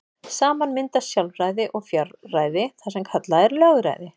Saman mynda sjálfræði og fjárræði það sem kallað er lögræði.